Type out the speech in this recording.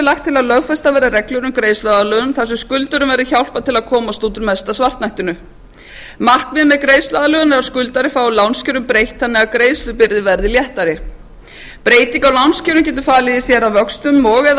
lagt til að lögfestar verði reglur um greiðsluaðlögun þar sem skuldurum verði hjálpað til að komast út úr mesta svartnættinu markmiðið með greiðsluaðlögun er að skuldari fái lánskjörum breytt þannig að greiðslubyrðin verði léttari breyting á lánskjörum getur falið í sér að vöxtum og eða